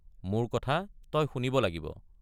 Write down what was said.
মোৰ কথা তই শুনিব লাগিব।